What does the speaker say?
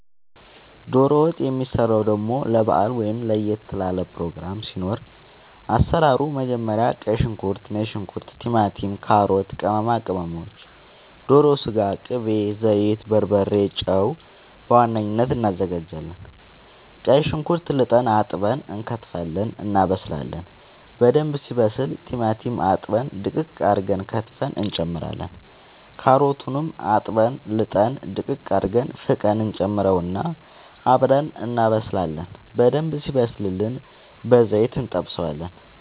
ዶሮ ወጥ የሚሰራው ደሞ ለባአል ወይም ለየት ላለ ፕሮግራም ሲኖር አሰራሩ መጀመሪያ ቀይ ሽንኩርት ነጭ ሽንኩርት ቲማቲም ካሮት ቅመማ ቅመሞች ዶሮ ስጋ ቅቤ ዘይት በርበሬ ጨው በዋነኝነት አናዘጋጃለን ቀይ ሽንኩርት ልጠን አጥበን እንከትፋለን እናበስላለን በደንብ ሲበስል ቲማቲም አጥበን ድቅቅ አርገን ከትፈን እንጨምራለን ካሮቱንም አጥበን ልጠን ድቅቅ አርገን ፍቀን እንጨምረውና አብረን እናበስላለን በደንብ ሲበስልልን በዘይት እንጠብሰዋለን